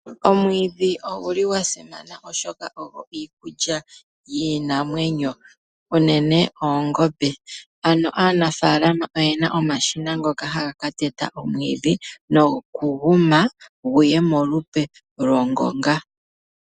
Omwiidhi ogu li gwa simana, oshoka ogo iikulya yiinamwenyo, unene oongombe. Ano aanafaalama oye na omashina ngoka haga ka teta omwiidhi, noku gu ma, gu ye molupe lwongonga.